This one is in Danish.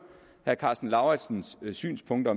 herre karsten lauritzens synspunkter